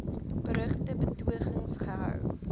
berugte betogings gehou